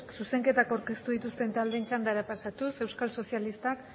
zuzenketak aurkeztu dituzten taldeen txandara pasatuz euskal sozialistak